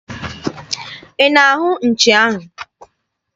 Ị na-ahụ nchi ahụ?